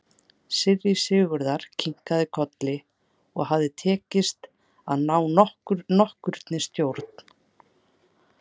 Síra Sigurður kinkaði kolli og hafði tekist að ná nokkurri stjórn á sér.